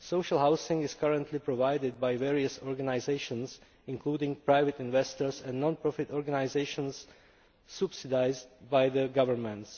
Social housing is currently provided by various organisations, including private investors and non profit organisations subsidised by their governments.